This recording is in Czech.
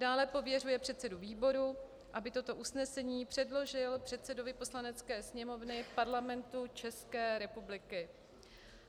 II. pověřuje předsedu výboru, aby toto usnesení předložil předsedovi Poslanecké sněmovny Parlamentu České republiky;